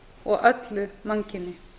og öllu mannkyni